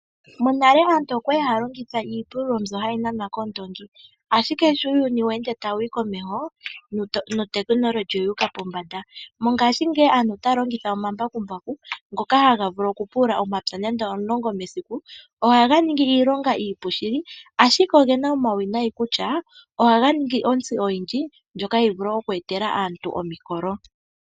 Monale aantu okwali haya longitha iipululo mbyono hayi nanwa koondongi, ashike sho uuyuni we ende tawuyi komeho notechnology oyi uka pombanda. Mongashingeyi aantu otaya longitha omambakumbaku ngoka haga vulu oku pulula omapya 10 mesiku ohaga ningi iilonga iipu shili, ashike ogena omauwinayi kutya ohaga ningi intsi oyindji ndyoka hayi vulu oku etela aantu omikolo.